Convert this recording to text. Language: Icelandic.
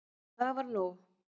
Og það var nóg.